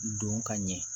Don ka ɲɛ